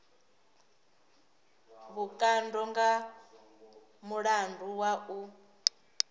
vhukando nga mulandu wa u